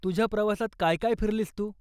तुझ्या प्रवासात काय काय फिरलीस तू?